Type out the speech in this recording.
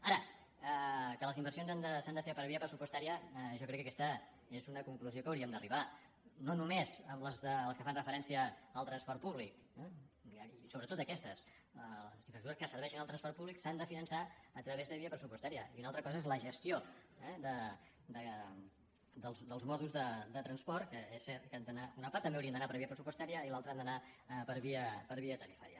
ara que les inversions s’han de fer per via pressupostària jo crec que aquesta és una conclusió a què hauríem d’arribar no només les que fan referència al transport públic i sobretot aquestes les infraestructures que serveixen al transport públic s’han de finançar a través de via pressupostària i una altra cosa és la gestió dels mòduls de transport que és cert que una part també haurien d’anar per via pressupostària i l’altra ha d’anar per via tarifària